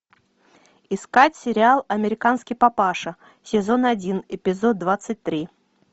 искать сериал американский папаша сезон один эпизод двадцать три